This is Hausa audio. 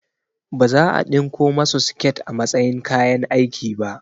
Baza a ɗinko masu siket a matsayin kayan aiki ba